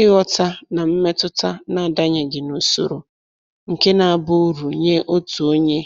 Ịghọta na mmetụta na-adanyeghị n'usoro nke na-abụ uru nye otu onye